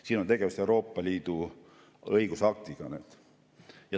" Siin on tegemist Euroopa Liidu õigusaktiga.